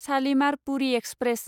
Shalimar Puri express